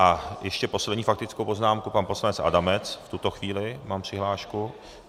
A ještě poslední faktickou poznámku pan poslanec Adamec v tuto chvíli - mám přihlášku.